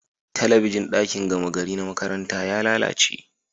Talabijin dakin gama gari na makaranta ya lalache